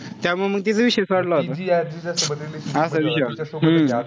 त्यामुळे मंग तिचा विषय सोडला होता. असा विषय होता हम्म